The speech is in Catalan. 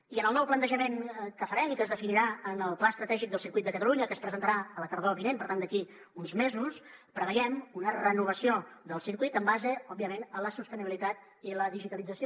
i en el nou plantejament que farem i que es definirà en el pla estratègic del circuit de catalunya que es presentarà la tardor vinent per tant d’aquí uns mesos preveiem una renovació del circuit en base òbviament a la sostenibilitat i la digitalització